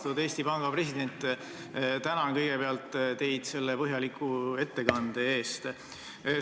Austatud Eesti Panga president, tänan teid selle põhjaliku ettekande eest!